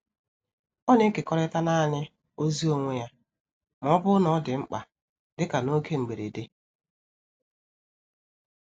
Ó na-ekekọrịta naanị ozi onwe ya ma ọ bụrụ na ọ dị mkpa, dịka n’oge mberede.